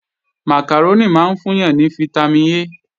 Màkàrónì máa ń fún yàn ní fítámìn A